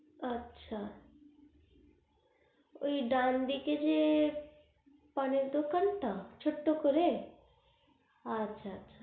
আচ্ছা ওই ডান দিকে যে পানের দোকান টা ছোট্ট করে আচ্ছা আচ্ছা